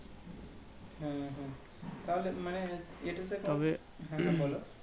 হ্যাঁ হ্যাঁ হ্যাঁ তাহলে মানে এটাতে হ্যাঁ হ্যাঁ বলো